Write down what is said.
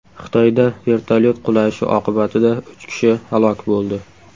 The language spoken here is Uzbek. Xitoyda vertolyot qulashi oqibatida uch kishi halok bo‘ldi.